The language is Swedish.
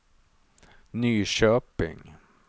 Nyköping